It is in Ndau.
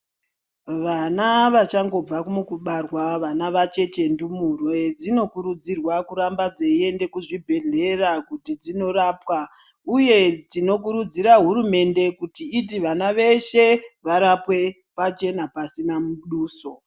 Vana vachangobva mukubarwa vana vacheche ndumurwa dzinokurudzirwa kuramba dzeyienda kuzvibhehlera kuti dzinorapwa uye tinokurudzira hurumende kuti iti vana veshe varapwe pachena pasina muduso.